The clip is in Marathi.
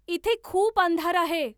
इथे खूप अंधार आहे